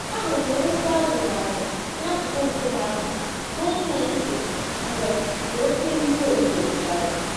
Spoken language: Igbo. Ahụrụ m ụkwụ azọrọ azọ n'akụkụ nkume ahụ n'otu ụtụtụ mgbe mgbe oké mmírí ozuzo zochara